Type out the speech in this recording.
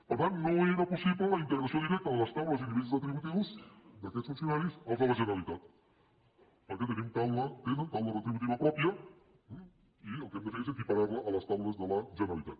per tant no era possible la integració directa de les taules i nivells retributius d’aquests funcionaris als de la generalitat perquè tenen taula retributiva pròpia i el que hem de fer és equiparar la a les taules de la generalitat